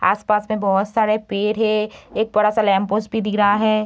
आसपास में बहुत सारे पेड़ है एक बड़ा सा लैंप-पोस्ट भी दिख रहा है।